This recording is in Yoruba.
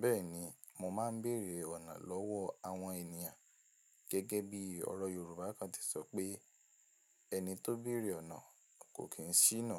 Bẹ́ẹ̀ni, mo máa ń bèrè ọ̀nà lọ́wọ́ àwọn ènìyàn. Gẹ́gẹ́ bí ọ̀rọ̀ Yorùbá kan ti sọ pé "Ẹni tó bèrè ọ̀nà kò kí ń ṣíná".